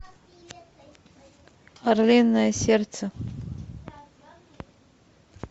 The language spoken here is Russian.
орлиное сердце